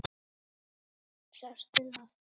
Sástu það?